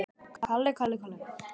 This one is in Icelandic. Ljósir og dökkir.